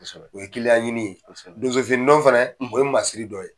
O ye kiliyan ɲini ye . Donso fini don fɛnɛ o ye masiriri dɔ ye.